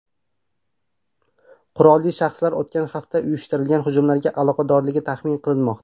Qurolli shaxslar o‘tgan hafta uyushtirilgan hujumlarga aloqadorligi taxmin qilinmoqda.